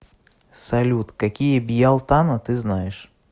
салют какие бьялтана ты знаешь